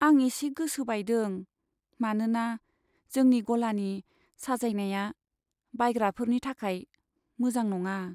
आं एसे गोसो बायदों, मानोना जोंनि गलानि साजायनाया बायग्राफोरनि थाखाय मोजां नङा।